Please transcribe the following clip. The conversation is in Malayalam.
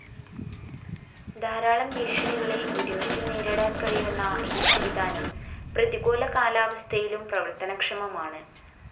ധാരാളം ഭീഷണികളെ ഒരുമിച്ച് നേരിടാൻ കഴിയുന്ന ഈ സംവിധാനം പ്രതികൂല കാലാവസ്ഥയിലും പ്രവർത്തനക്ഷമമാണ്